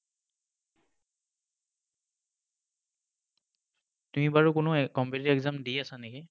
তুমি বাৰু কোনো competitive exam দি আছা নেকি?